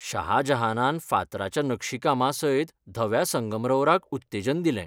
शाह जहानान फातराच्या नक्षीकामासयत धव्या संगमरवराक उत्तेजन दिलें.